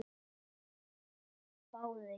Óskar hváði.